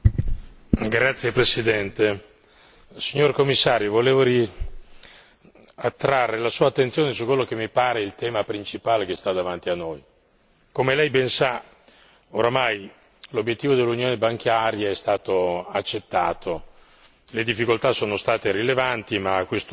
Signor Presidente, onorevoli colleghi, signor Commissario, volevo richiamare la sua attenzione su quello che mi pare il tema principale che sta davanti a noi. Come Lei ben sa, ormai l'obiettivo dell'unione bancaria è stato accettato, le difficoltà sono state rilevanti, ma a questo